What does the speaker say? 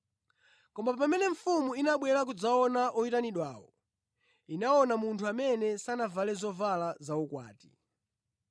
“Koma pamene mfumu inabwera kudzaona oyitanidwawo, inaona munthu amene sanavale zovala zaukwati.